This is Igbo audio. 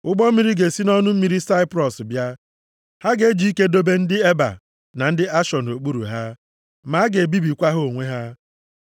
Ụgbọ mmiri ga-esi nʼọnụ mmiri Saiprọs bịa. Ha ga-eji ike dobe ndị Eba + 24:24 Eba bụ nna nna ndị Hibru. \+xt Jen 10:21; 1Ih 1:25-27\+xt* na ndị Ashọ nʼokpuru ha, ma a ga-ebibikwa ha onwe ha.”